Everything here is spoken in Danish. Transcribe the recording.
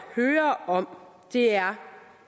høre om er